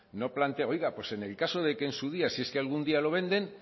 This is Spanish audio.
no plantee oiga pues en el caso de que en su día si es que algún día lo venden